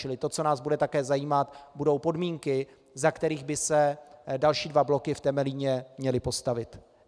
Čili to, co nás také bude zajímat, budou podmínky, za kterých by se další dva bloky v Temelíně měly postavit.